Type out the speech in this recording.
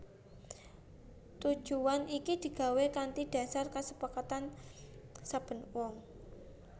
Tujuwan iki digawé kanthi dhasar kasepakatan saben wong